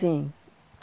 Sim.